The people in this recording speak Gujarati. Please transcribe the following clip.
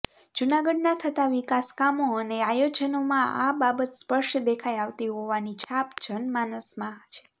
જૂનાગઢના થતા વિકાસ કામો અને આયોજનોમાં આ બાબત સ્પષ્ટ દેખાઈ આવતી હોવાની છાપ જનમાનસમાં છે